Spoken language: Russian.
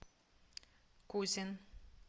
кузин